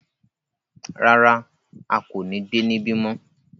Rárá, a ko ni gbe nibi mọ